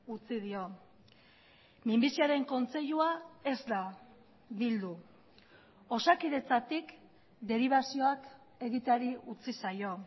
utzi dio minbiziaren kontseilua ez da bildu osakidetzatik deribazioak egiteari utzi zaio